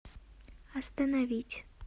остановить